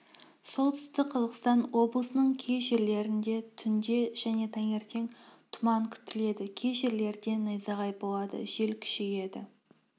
солтүстік қазақстан облысының кей жерлерінде түнде және таңертең тұман күтіледі кей жерлерде найзағай болады жел күшейеді